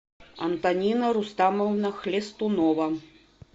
антонина рустамовна хлестунова